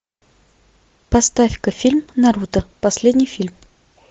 поставь ка фильм наруто последний фильм